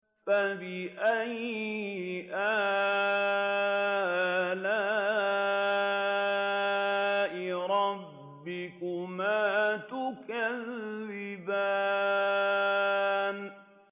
فَبِأَيِّ آلَاءِ رَبِّكُمَا تُكَذِّبَانِ